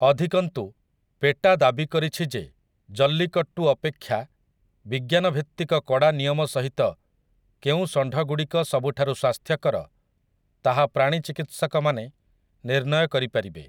ଅଧିକନ୍ତୁ, ପେଟା ଦାବି କରିଛି ଯେ ଜଲ୍ଲିକଟ୍ଟୁ ଅପେକ୍ଷା ବିଜ୍ଞାନଭିତ୍ତିକ କଡ଼ା ନିୟମ ସହିତ କେଉଁ ଷଣ୍ଢଗୁଡ଼ିକ ସବୁଠାରୁ ସ୍ୱାସ୍ଥ୍ୟକର ତାହା ପ୍ରାଣୀ ଚିକିତ୍ସକମାନେ ନିର୍ଣ୍ଣୟ କରିପାରିବେ ।